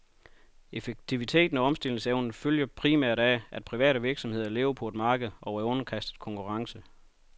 Effektiviteten og omstillingsevnen følger primært af, at private virksomheder lever på et marked og er underkastet konkurrence.